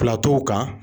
Filaturuw kan